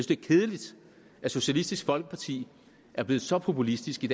det er kedeligt at socialistisk folkeparti er blevet så populistisk i